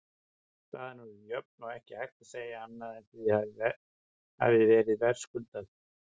Staðan orðin jöfn og ekki hægt að segja annað en að það hafi verið verðskuldað.